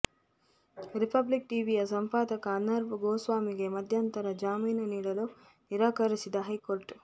republic ಟಿವಿಯ ಸಂಪಾದಕ ಅರ್ನಬ್ ಗೋಸ್ವಾಮಿಗೆ ಮಧ್ಯಂತರ ಜಾಮೀನು ನೀಡಲು ನಿರಾಕರಿಸಿದ ಹೈಕೋರ್ಟ್